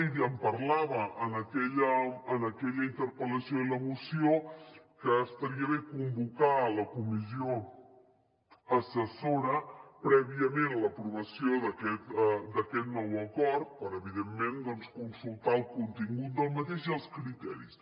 i en parlava en aquella interpel·lació i a la moció que estaria bé convocar la comissió assessora prèviament a l’aprovació d’aquest nou acord per evidentment consultar el contingut d’aquest i els criteris